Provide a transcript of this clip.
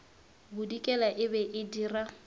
bodikela e be e dira